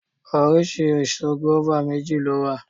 Oríṣi èso gùáfà méjì ló wà